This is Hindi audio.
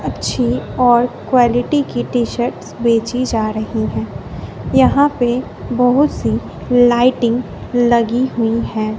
अच्छी और क्वालिटी की टी शर्ट बेची जा रही है यहां पे बहुत सी लाइटिंग लगी हुई है।